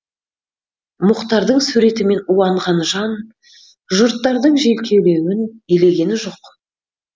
мұхтардың суретімен уанған жан жұрттардың желкелеуін елеген жоқ